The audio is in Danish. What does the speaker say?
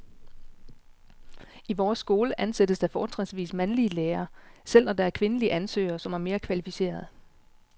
I vores skole ansættes der fortrinsvis mandlige lærere, selv når der er kvindelige ansøgere, som er mere kvalificerede.